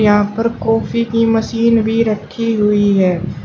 यहां पर कॉफ़ी की मशीन भी रखी हुई है।